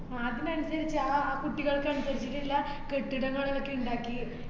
അതിന് അനുസരിച്ചു ആഹ് ആ കുട്ടികൾക്കനുരിച്ചിട്ട്ള്ള കെട്ടിടങ്ങളൊക്കെ ഇണ്ടാക്കി